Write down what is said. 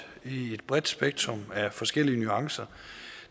i et bredt spektrum af forskellige nuancer